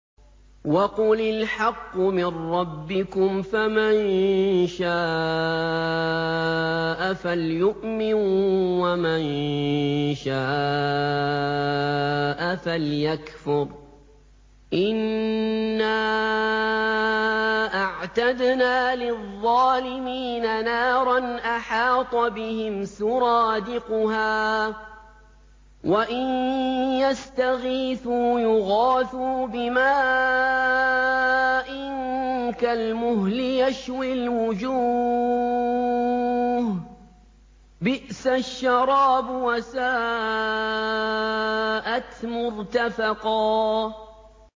وَقُلِ الْحَقُّ مِن رَّبِّكُمْ ۖ فَمَن شَاءَ فَلْيُؤْمِن وَمَن شَاءَ فَلْيَكْفُرْ ۚ إِنَّا أَعْتَدْنَا لِلظَّالِمِينَ نَارًا أَحَاطَ بِهِمْ سُرَادِقُهَا ۚ وَإِن يَسْتَغِيثُوا يُغَاثُوا بِمَاءٍ كَالْمُهْلِ يَشْوِي الْوُجُوهَ ۚ بِئْسَ الشَّرَابُ وَسَاءَتْ مُرْتَفَقًا